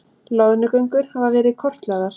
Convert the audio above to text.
Loðnugöngur hafa verið kortlagðar